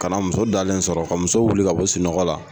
Ka na muso dalen sɔrɔ ka muso wuli ka bɔ sunɔgɔ la